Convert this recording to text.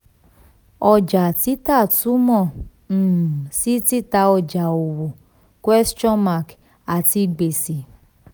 ọjà títà túmọ̀ um sí títà ọjà owó àti gbèsè.